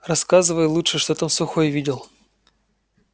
рассказывай лучше что там сухой видел